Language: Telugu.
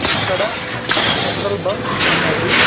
ఇక్కడ పెట్రోల్ బంక్ ఉన్నది.